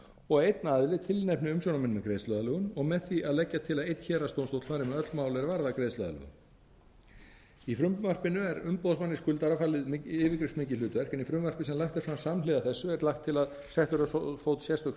og að einn aðili tilnefni umsjónarmenn með greiðsluaðlögun og með því að leggja til að einn héraðsdómstóll fari með öll mál er varða greiðsluaðlögun í frumvarpinu er umboðsmanni skuldara falið yfirgripsmikið hlutverk en í frumvarpi sem lagt er fram samhliða þessu er lagt til að sett verði á fót sérstök